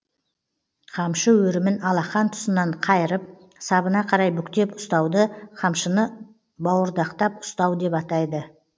қамшы өрімін алақан тұсынан қайырып сабына қарай бүктеп ұстауды қамшыны бауырдақтап ұстау деп атайды